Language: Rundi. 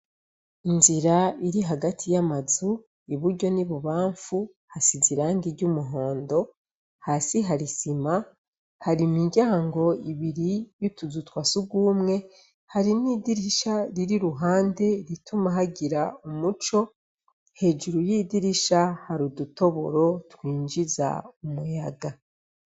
Inzira iri hagati y' amazu, iburyo n' ibubanfu, hasize irangi ry' umuhondo, hasi hari isima, hari imiryango ibiri y' utuzu twa surwumwe, hari n' idirisha riri iruhande rituma hagira umuco, hejuru y' idirisha hari udutoboro twinjiza umuyaga.